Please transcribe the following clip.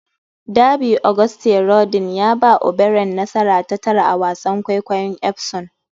Derby: Auguste Rodin ya ba O'Brien nasara ta tara a wasan kwaikwayon Epsom